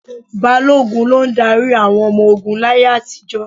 Balógun ló ń darí àwọn ọmọ ogún láyé àtijọ́.